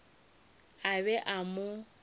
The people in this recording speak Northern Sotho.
a be a ka mo